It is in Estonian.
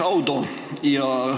Šaudo!".